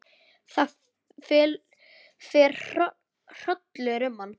Það fer hrollur um hann.